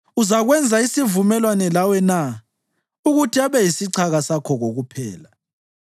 Uzakwenza isivumelwano lawe na ukuthi abe yisichaka sakho kokuphela?